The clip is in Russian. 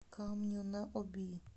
камню на оби